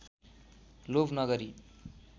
लोभ नगरी